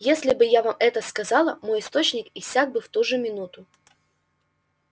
если бы я вам это сказала мой источник иссяк бы в ту же минуту